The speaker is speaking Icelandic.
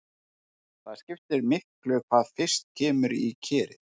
Það skiptir miklu hvað fyrst kemur í kerið.